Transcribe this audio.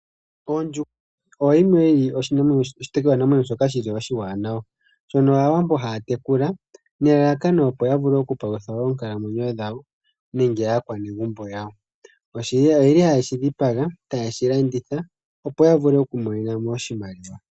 Ondjuhwa oyo yimwe yi li oshitekulwanamwenyo shoka shi li oshiwanawa, shono Aawambo haya tekula nelalakano opo ya vule okupalutha oonkalamwenyo dhawo nenge aakwanegumbo yawo. Oye li haye shi dhipaga taye shi landitha opo ya vule oku imonenamo oshimaliwa.